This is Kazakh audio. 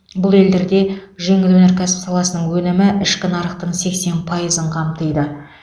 бұл елдерде жеңіл өнеркәсіп саласының өнімі ішкі нарықтың сексен пайызын қамтиды